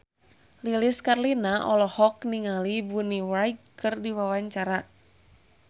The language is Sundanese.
Lilis Karlina olohok ningali Bonnie Wright keur diwawancara